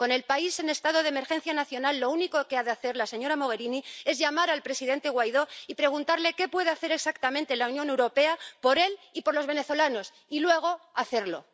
Con el país en estado de emergencia nacional, lo único que ha de hacer la señora Mogherini es llamar al presidente Guaidó y preguntarle qué puede hacer exactamente la Unión Europea por él y por los venezolanos, y, luego, hacerlo.